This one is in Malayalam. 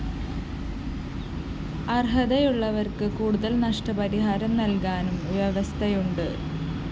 അര്‍ഹതയുള്ളവര്‍ക്ക് കൂടുതല്‍ നഷ്ടപരിഹാരം നല്‍കാനും വ്യവസ്ഥയുണ്ട്